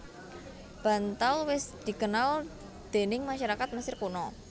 Bantal wis dikenal déning masyarakat Mesir Kuna